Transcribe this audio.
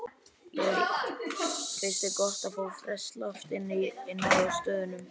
Lillý: Finnst þér gott að fá ferskt loft inná stöðunum?